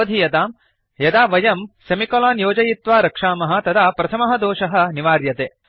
अवधीयताम् यदा वयं सेमिकोलन् योजयित्वा रक्षामः तदा प्रथमः दोषः निवार्यते